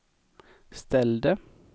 ställde